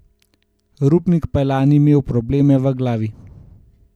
Rupnik je pa lani imel probleme v glavi.